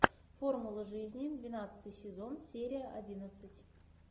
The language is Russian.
формула жизни двенадцатый сезон серия одиннадцать